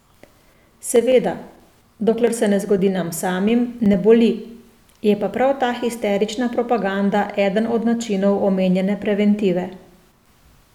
Seveda, dokler se ne zgodi nam samim, ne boli, je pa prav ta histerična propaganda eden od načinov omenjene preventive.